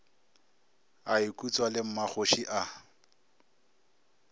a ikutswa le mmakgoši a